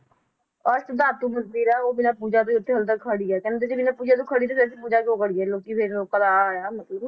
ਉਹ ਬਿਨਾਂ ਪੂਜਾ ਤੋਂ ਹੀ ਉੱਥੇ ਹਾਲੇ ਤੱਕ ਖੜੀ ਹੈ ਕਹਿੰਦੇ ਪੂਜਾ ਤੋਂ ਖੜੀ ਪੂਜਾ ਤੋਂ ਖੜੀ ਹੈ ਲੋਕੀ ਮਤਲਬ